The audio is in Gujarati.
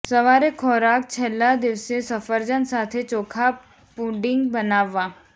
સવારે ખોરાક છેલ્લા દિવસે સફરજન સાથે ચોખા પુડિંગ બનાવવા